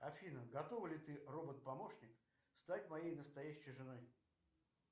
афина готова ли ты робот помощник стать моей настоящей женой